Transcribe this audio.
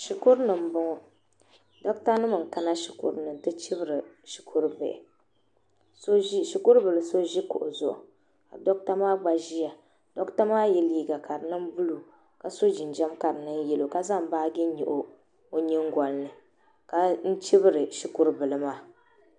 Shikuri ni m boŋɔ doɣata nim n kana Shikuruni n ti chibiri shɛkuru bihi Shikuri bila so ʒi kuɣu zuɣu doɣata maa gba ʒia doɣata maa ye liga ka di niŋ buluu ka so jinjam ja di nyɛ yɛlo ka zaŋ baagi nyɛɣi o nyingolini ka n chibiri shikuru bili maa.